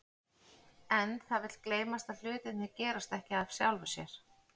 En það vill gleymast að hlutirnir gerast ekki af sjálfu sér.